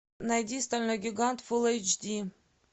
найди стальной гигант фулл эйч ди